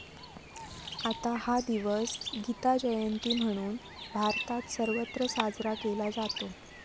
आता हा दिवस गीताजयंती म्हणून, भारतात सर्वत्र साजरा केला जातो.